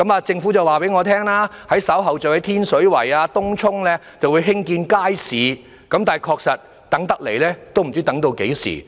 政府告訴我，稍後會在天水圍、東涌等地興建街市，但確實不知道要等到何時。